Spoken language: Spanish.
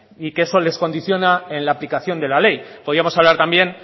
y que eso les condiciona en la aplicación de la ley podíamos hablar también